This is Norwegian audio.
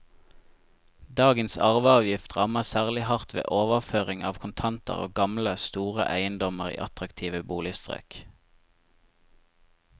Dagens arveavgift rammer særlig hardt ved overføring av kontanter og gamle, store eiendommer i attraktive boligstrøk.